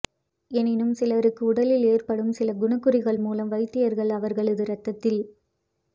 எனினும் சிலருக்கு உடலில் ஏற்படும் சில குணங்குறிகள் மூலம் வைத்தியர்கள் அவர்களது இரத்தத்தில்